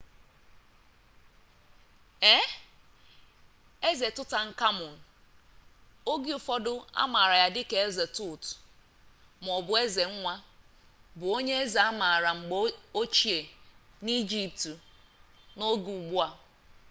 ee eze tutankhamun oge ụfọdụ amaara ya dịka eze tut maọbụ eze nwa bụ onye eze amaara mgbe ochie n'egypt n'oge ugbu a